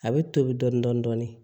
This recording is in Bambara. A bɛ tobi dɔɔnin dɔɔnin dɔɔnin